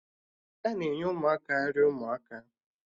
Ana enye Ụmụaka nri ụmụaka